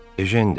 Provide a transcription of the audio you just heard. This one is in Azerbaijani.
Ejen dedi.